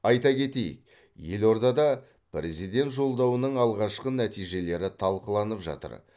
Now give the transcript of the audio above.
айта кетейік елордада президент жолдауының алғашқы нәтижелері талқыланып жатыр